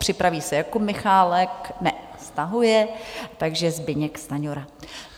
Připraví se Jakub Michálek - ne, stahuje, takže Zbyněk Stanjura.